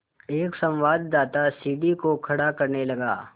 एक संवाददाता सीढ़ी को खड़ा करने लगा